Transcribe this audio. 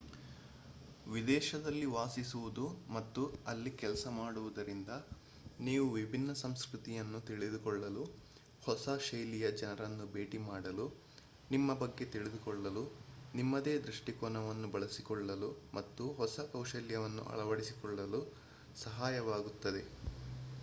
ವಿದೇಶದಲ್ಲಿ ವಾಸಿಸುವುದು ಮತ್ತು ಅಲ್ಲಿ ಕೆಲಸ ಮಾಡುವುದರಿಂದ ನೀವು ವಿಭಿನ್ನ ಸಂಸ್ಕೃತಿಯನ್ನು ತಿಳಿದುಕೊಳ್ಳಲು ಹೊಸ ಶೈಲಿಯ ಜನರನ್ನು ಭೇಟಿ ಮಾಡಲು ನಿಮ್ಮ ಬಗ್ಗೆ ತಿಳಿದುಕೊಳ್ಳಲು ನಿಮ್ಮದೇ ದೃಷ್ಟಿಕೋನವನ್ನು ಬೆಳೆಸಿಕೊಳ್ಳಲು ಮತ್ತು ಹೊಸ ಕೌಶಲ್ಯಗಳನ್ನು ಅಳವಡಿಸಿಕೊಳ್ಳಲು ಸಹಾಯವಾಗುತ್ತದೆ